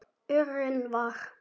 urinn var.